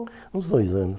Uns dois anos.